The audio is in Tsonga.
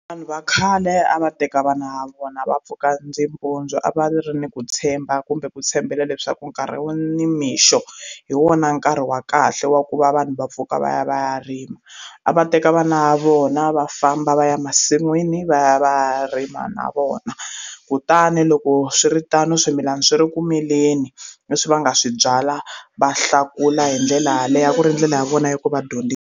Vanhu va khale a va teka vana va vona va pfuka ndzi mpundzu a va ri ni ku tshemba kumbe ku tshembela leswaku nkarhi wo nimixo hi wona nkarhi wa kahle wa ku va vanhu va pfuka va ya va ya rima a va teka vana vona va famba va ya masin'wini va ya va rima na vona kutani loko swiritano swimilana swi ri ku mileni leswi va nga swi byala va hlakula hi ndlela yaleyo a ku ri ndlela ya vona ya ku va .